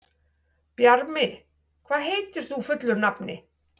Bjarmi, hvað heitir þú fullu nafni?